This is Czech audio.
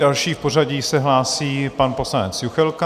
Další v pořadí se hlásí pan poslanec Juchelka.